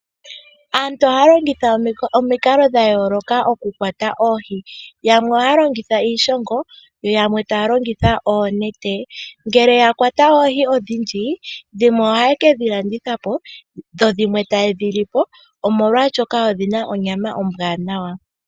Aantu ohaya longithwa omikalo dhayoloka okukwata oohi yamwe oha longitha iishongo yo yamwe talongitha oonete ngele yakwata oohi odhindji odhimww ohaye kedhi landithapo ndho dhimwe taye dhili po omolwashoka odhina onyama ombwanawa.